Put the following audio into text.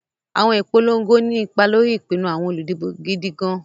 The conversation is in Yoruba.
Àwọn ìpolongo ní ipa lórí ìpinnu àwọn olùdìbò gidi gan-an.